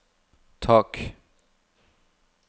tak